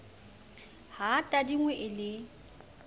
ha e tadingwe e le